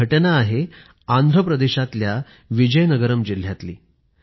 हि घटना आहे आंध्र प्रदेशातल्या विजयनगरम जिल्ह्यातील